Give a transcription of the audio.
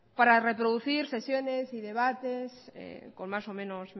para reproducir sesiones y debates con más o menos